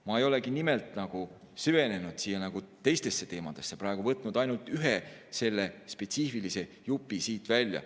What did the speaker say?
Ma ei olegi nimelt süvenenud teistesse teemadesse, olen võtnud ainult ühe selle spetsiifilise jupi siit välja.